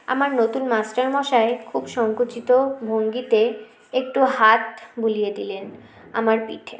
আমার নতুন master মশাই খুব সঙ্কুচিত ভঙ্গিতে একটু হাত বুলিয়ে দিলেন আমার পিঠে